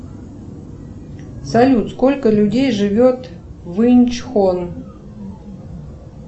салют сколько людей живет в инч хон